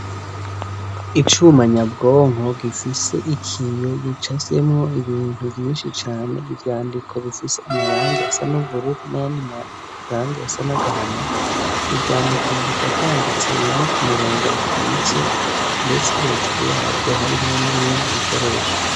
Icuma nyabwonko gifise ikiyo gicafyemwo ibintu vyinshi cane, ivyandiko bifise amarangi asa n'ubururu n'ayandi marangi asa n'agahama ivyo ivyandiko bubiko vyanditse bimwe ku murongo ukitse ndetse hejuru yavyo harimwo n'ibindi bikoresho.